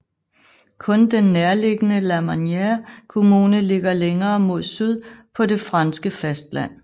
Kun den nærliggende Lamanère kommune ligger længere mod syd på det franske fastland